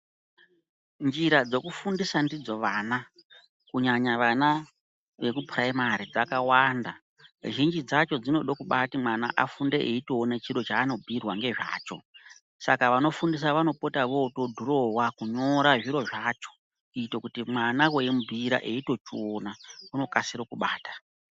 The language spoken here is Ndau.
Njira dzekufundisa ndidzo vana kunyanya vana vekupuraimari dzakawanda zhinji dzacho dzinobade kuti mwana afunde eitoone chiro chanobhuyirwa ngezvacho saka vanofundisa vanopota votodhurowa kunyora zviro zvacho kuita kuti mwana weimubhuyira etochiona unokasire kubata.